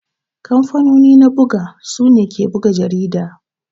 kamfanoni na ɓuga su ne ke ɓuga jariɗa.